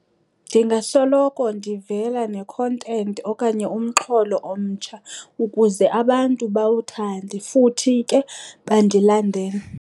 Ndingasoloko ndivela ne-content okanye umxholo omtsha ukuze abantu bawuthande futhi ke bandilandele.